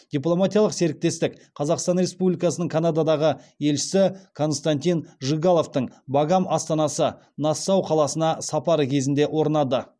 дипломатиялық серіктестік қазақстан республикасының канададағы елшісі константин жигаловтың багам астанасы нассау қаласына сапары кезінде орнады